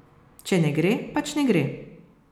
Če ne gre, pač ne gre.